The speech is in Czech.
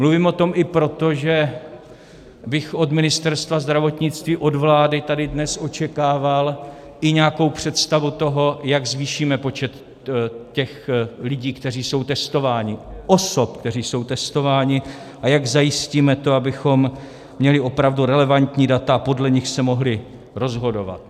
Mluvím o tom i proto, že bych od Ministerstva zdravotnictví, od vlády tady dnes očekával i nějakou představu toho, jak zvýšíme počet těch lidí, kteří jsou testováni, osob, které jsou testovány, a jak zajistíme to, abychom měli opravdu relevantní data a podle nich se mohli rozhodovat.